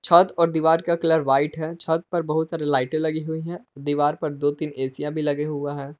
छत और दीवार का कलर वाइट है छत पे बहुत सारी लाइटें लगी हुई हैं दीवार पर दो तीन एशिया भी लगे हुआ है।